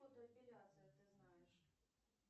фотоэпиляция ты знаешь